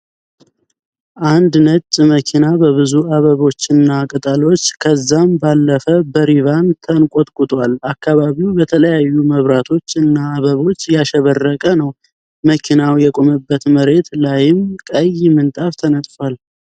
አንድ ነጭ መኪና በብዙ አበቦች እና ቅጠሎች ከዛም ባለፈ በሪቫን ተንቆጥቁጧል። አካባቢውም በተለያዩ መብራቶች እና አበቦች ያሸበረቀ ነው። መኪናው የቆመበት መሬት ላይም ቀይ ምንጣፍ ተነጥፏል።